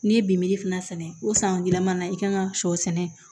N'i ye bimin fana sɛnɛ o san gilanna i kan ka sɔ sɛnɛ